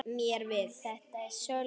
Þetta er Sölvi.